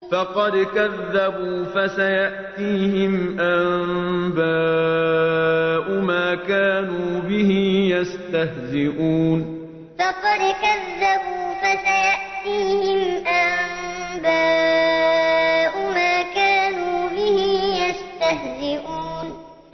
فَقَدْ كَذَّبُوا فَسَيَأْتِيهِمْ أَنبَاءُ مَا كَانُوا بِهِ يَسْتَهْزِئُونَ فَقَدْ كَذَّبُوا فَسَيَأْتِيهِمْ أَنبَاءُ مَا كَانُوا بِهِ يَسْتَهْزِئُونَ